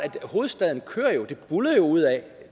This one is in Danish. hovedstaden buldrer jo